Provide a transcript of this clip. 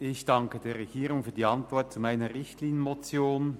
Ich danke der Regierung für die Antwort auf meine Richtlinienmotion.